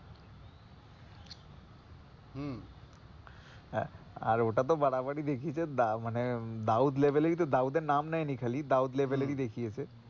হম আর ওটা তো বাড়াবাড়ি দেখিয়েছে, মানে দাউদ level এরই তো দাউদের নাম নেয়নি খালি দাউদ level এরই দেখিয়েছে, হম